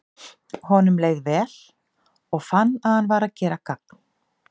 Honum leið leið vel, og fann að hann var að gera gagn.